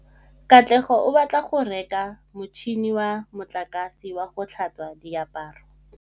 Katlego o batla go reka motšhine wa motlakase wa go tlhatswa diaparo.